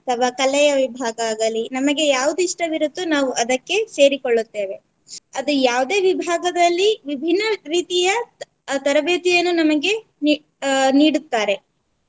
ಅಥವಾ ಕಲೆಯ ವಿಭಾಗ ಆಗಲಿ ನಮಗೆ ಯಾವುದು ಇಷ್ಟವಿರುತ್ತೋ ನಾವು ಅದಕ್ಕೆ ಸೇರಿಕೊಳ್ಳುತ್ತೇವೆ. ಅದು ಯಾವುದೆ ವಿಭಾಗದಲ್ಲಿ ವಿಭಿನ್ನ ರೀತಿಯ ತ~ ತರಬೇತಿಯನ್ನು ನಮಗೆ ನೀ~ ಅಹ್ ನೀಡುತ್ತಾರೆ.